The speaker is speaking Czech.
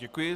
Děkuji.